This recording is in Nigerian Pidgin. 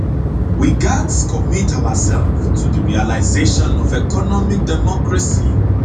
we gatz commit oursef to di realisation of economic democracy